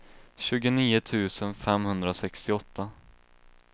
tjugonio tusen femhundrasextioåtta